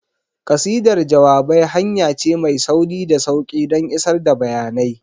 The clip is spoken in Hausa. Ƙasidar jawabai hanya ce mai sauri da sauƙi don isar da bayanai.